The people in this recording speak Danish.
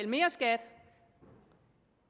mere skat